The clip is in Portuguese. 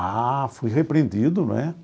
Ah, fui repreendido, não é?